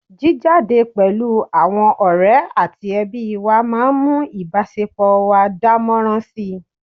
jíjáde pẹ̀lú àwọn ọ̀rẹ́ àti ẹbí wa máa ń mú ìbásepọ̀ wa dánmọ́nrán si